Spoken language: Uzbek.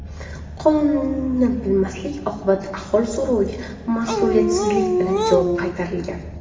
Qonunni bilmaslik oqibatida aholi so‘roviga mas’uliyatsizlik bilan javob qaytarilgan.